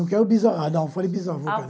bisa, não foi bisavó